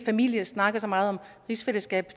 familie snakker så meget om rigsfællesskab